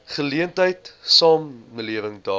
geleentheid samelewing daag